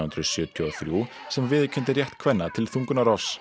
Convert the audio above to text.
hundruð sjötíu og þrjú sem viðurkenndi rétt kvenna til þungunarrofs